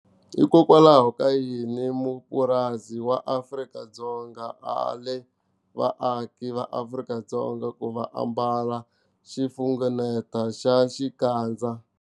Hikokwalaho ka yini mupurasi wa Afrika-Dzonga a ale vaaki va Afrika-Dzonga ku va ambala xifungeneto xa xikandza.